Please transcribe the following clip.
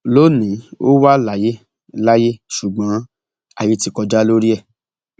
lónìín ò wà láyé láyé ṣùgbọn ayé ti kọjá lórí ẹ